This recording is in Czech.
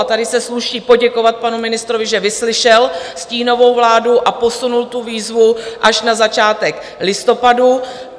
A tady se sluší poděkovat panu ministrovi, že vyslyšel stínovou vládu a posunul tu výzvu až na začátek listopadu.